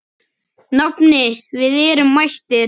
Nafni, við erum mættir